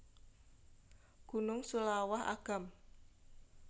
Gunung Seulawah Agam